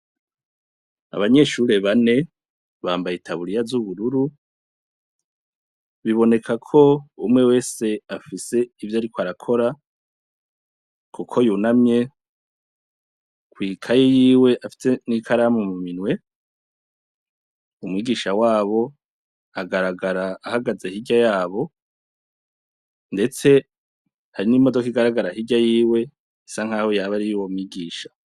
Abanyeshure bane bambaye itaburiya z'ubururu, biboneka ko umwe wese afise ivyo ariko arakora kuko yunamye kw'ikaye yiwe afise n'ikaramu mu minwe, umwigisha wabo agaragara ahagaze hirya yabo ndetse hari n'imodoka igaragara hirya yiwe bisa nkaho yaba ari iy'uwo mwigisha.